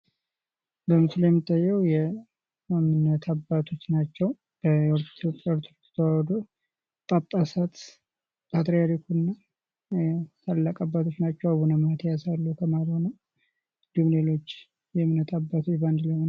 በስምሉ ላይ የሚታየው የእምነት አባቶች ናቸው የኢትዮጵያ ኦርቶዶክስ ተዋህዶ ጳጳሳት ፣ ፓትሪያልኩ እና ታላላቅ አባቶች ናቸው ፤ አቡነ ማቲያስ አሉ ከመሃል ሆነው እንዲሁም ሌሎች የእምነት አባቶች አንድ ላይ ሆነው